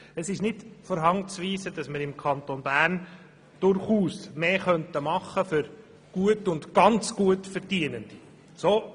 Es ist nicht von der Hand zu weisen, dass wir im Kanton Bern durchaus mehr für gut und sehr gut Verdienende tun könnten.